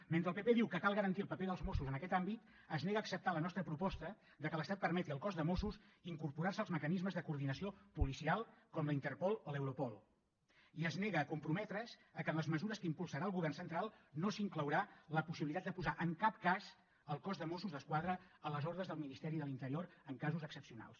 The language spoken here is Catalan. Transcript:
mentre el pp diu que cal garantir el paper dels mossos en aquest àmbit es nega a acceptar la nostra proposta que l’estat permeti al cos de mossos incorporar se als mecanismes de coordinació policial com la interpol o l’europol i es nega a comprometre’s que en les mesures que impulsarà el govern central no s’inclourà la possibilitat de posar en cap cas el cos de mossos d’esquadra a les ordres del ministeri de l’interior en casos excepcionals